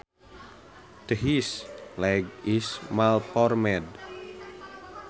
This leg is malformed